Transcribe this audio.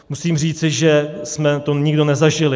Musím říci, že jsme to nikdo nezažili.